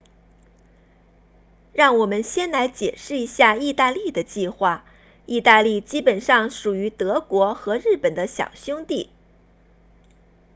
让我们先来解释一下意大利的计划意大利基本上属于德国和日本的小兄弟